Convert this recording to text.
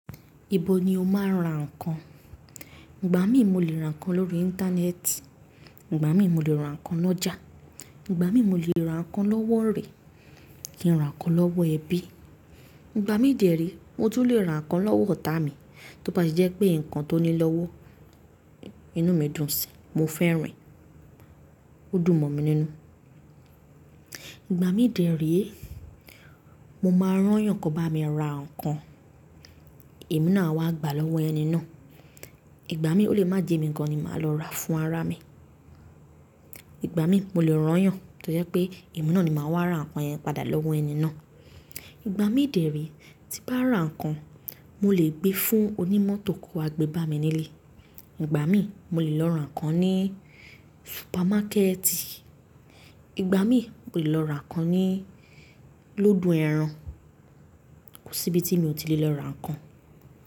Ibo ni o máa ń ra ǹkan? Ìgbà mí mo lè ra ǹkan lórí Íńtánẹ́ẹ̀tì, Ìgbà mí mo lè ra ǹkan lọ́jà, Ìgbà mí mo lè ra ǹkan lọ́wọ́ orẹ̀ kí n ra ǹkan lọ́wọ́ ẹbí. Ìgbà mi dẹ̀re mo tún lè ra ǹkan lọ́wọ́ ọ̀tá mi. Tó bá ti jẹ́ pé nǹkan tó ní lọ́wọ́, inú mi dùn síi, mo fẹ́ràn, ó dùn mọ̀ mi nínú. Ìgbà mi dẹ̀re mo máa rán yàn kan bá mi ra ǹkan, èmi náà a wá gbà lọ́wọ́ ẹni náà. Ìgbà mí ó lè má jẹ́ mi kan ni màá lọ rà fún ará mi. Ìgbà mí mo lè rán yàn tó jẹ́ pé èmi náà ni màá wá ra ǹkan yẹn padà lọ́wọ́ ẹni náà. Ìgbà mi dẹ̀re tí bá ra ǹkan, mo lè gbé fún onímọ̀tò kó wa gbebami nílé. Ìgbà mí mo lè lọ ra ǹkan ní supamákẹ́ẹ̀tì, Ìgbà mí mo lè lọ ra ǹkan ní loodo ẹran. Kò sí ibi tí mi ò tí lè lọ ra ǹkan.